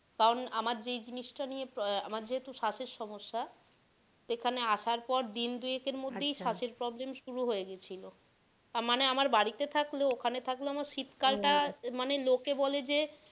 কারন আমার যেই জিনিস টা নিয়ে আহ আমার যেহেতু শ্বাস এর সমস্যা, এখানে আসার পর দিন দুএক এর আহ মধ্যে ই শ্বাস এর problem শুরু হয়ে গিয়েছিলো মানে আমার বাড়ি তে থাকলেও ওখানে থাকলেও শীত কাল টা আহ মানে লোকে বলে যে,